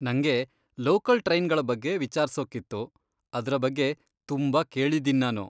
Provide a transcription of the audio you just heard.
ನಂಗೆ ಲೋಕಲ್ ಟ್ರೈನ್ಗಳ ಬಗ್ಗೆ ವಿಚಾರ್ಸೂಕ್ಕಿತ್ತು, ಅದ್ರ ಬಗ್ಗೆ ತುಂಬಾ ಕೇಳಿದೀನ್ ನಾನು.